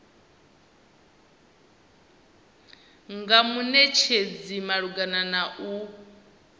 nga munetshedzi malugana na u